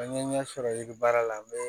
An ye ɲɛ sɔrɔ yiriba la an bɛ